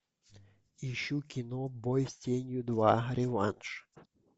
ищу кино бой с тенью два реванш